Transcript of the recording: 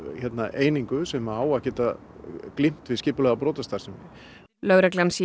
einingu sem á að geta glímt við skipulagða brotastarfsemi lögreglan sé